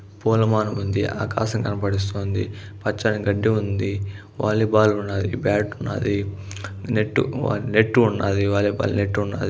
పూలమాలుడు ఉంది ఆకాశం కనబడుతోంది పచ్చడి గడ్డి ఉంది. వాలీబాల్ ఉంది బ్యాట్ ఉన్నది నెట్ నెట్టు ఉన్నది వాలీబాల్ నెట్టు ఉన్నది.